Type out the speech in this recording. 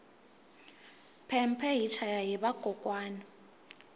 phemphe hi chaya hi vakokwani